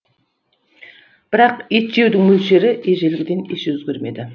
бірақ ет жеудің мөлшері ежелгіден еш өзгермеді